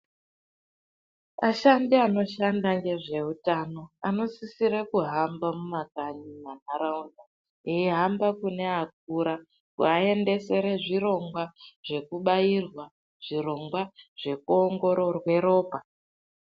Ashandi anoshanda nezvehutano anosisira kuhamba mumakanyi mundaraunda eihamba kune akura kuvaendesera zvirongwa zvekubairwa zvirongwa zvekuongororwa ropa.